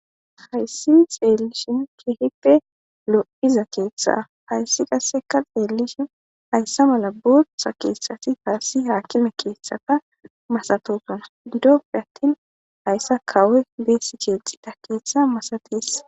hayssi xeellishin keheppe lo7iza keeththa hayssi qasseka xeellishin hayssa mala buttha keethsati taassi haakime keeththaka masatoson doppe attin hayssa kawe beesi cheexida keeththa masatees